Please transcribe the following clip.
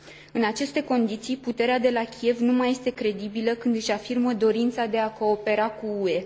În aceste condiții, puterea de la Kiev nu mai este credibilă când își afirmă dorința de a coopera cu UE.